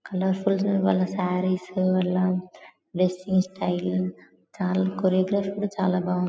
Colour full వాళ్ళ సారీస్ వాళ్ళ dressing style చాలా కొరియోగ్రాఫీ కూడా చాలా బాగుంది.